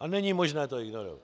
a není možné to ignorovat.